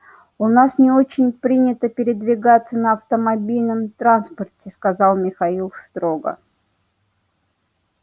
у нас не очень принято передвигаться на автомобильном транспорте сказал михаил строго